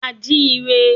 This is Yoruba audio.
A jí i re.